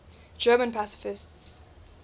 german pacifists